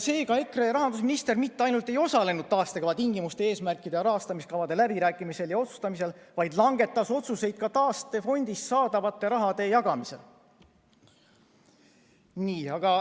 Seega EKRE rahandusminister mitte ainult ei osalenud taastekava tingimuste eesmärkide ja rahastamiskavade läbirääkimisel ja otsustamisel, vaid langetas otsuseid ka taastefondist saadava raha jagamisel.